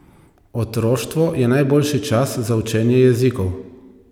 Otroštvo je najboljši čas za učenje jezikov.